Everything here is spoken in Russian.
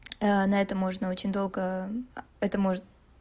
на это можно очень долго это может